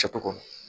Kɛcogo